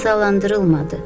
Cəzalandırılmadı.